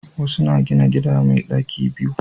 Wasu na gina gida mai daki biyu